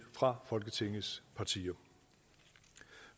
fra folketingets partier